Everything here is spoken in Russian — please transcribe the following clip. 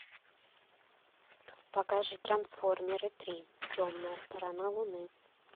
покажи трансформеры три темная сторона луны